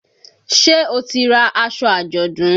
Ṣé o ti ra aṣọ àjọ̀dún?